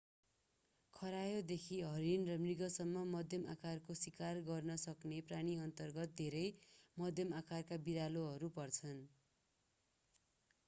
खरायोदेखि हरिण र मृगसम्म मध्यम आकारको सिकार गर्न सक्ने प्राणीअन्तर्गत धेरै मध्यम आकारका बिरालोहरू पर्छन्